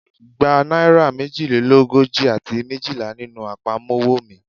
Gba naira mejilelogoji ati mejila ninu apamọwọ mi